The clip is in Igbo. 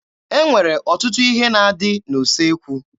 E nwere ọtụtụ ihe na-adị n'usekwu